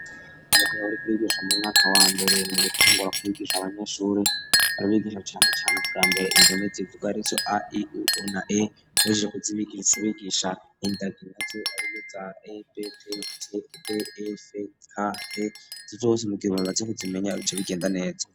Itwebo rikrigisha mu mwaka wa mbere mu gutangura kubigisha abanyeshuri aribigisha cyane cyane bwa mbere indomet zivuga aricyo a iuunaa ajije kuzibigirsubigisha indagi naz ariy za aptc dfk zibose mugirbatefite bimenya bicyo bigenda neza.